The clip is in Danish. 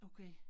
Okay